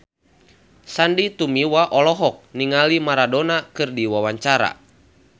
Sandy Tumiwa olohok ningali Maradona keur diwawancara